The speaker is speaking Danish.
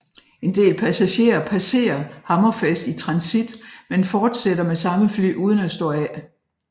En del passagerer passerer Hammerfest i transit men fortsætter med samme fly uden at stå af